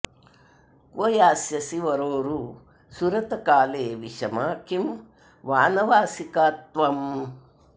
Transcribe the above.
क्व यास्यसि वरोरु सुरतकाले विषमा किं वानवासिका त्वम्